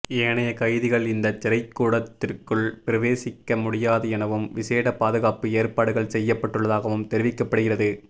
ஏனைய கைதிகள் இந்த சிறைக்கூடத்திற்குள் பிரவேசிக்க முடியாது எனவும் விசேட பாதுகாப்பு ஏற்பாடுகள் செய்யப்பட்டுள்ளதாகவும் தெரிவிக்கப்படுகிறது